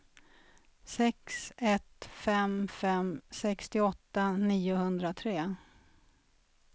sex ett fem fem sextioåtta niohundratre